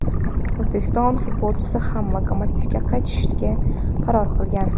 o‘zbekistonlik futbolchi ham "Lokomotiv"ga qaytishga qaror qilgan.